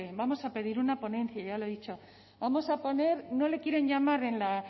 vamos a pedir una ponencia y ya lo he dicho vamos a poner no le quieren llamar en la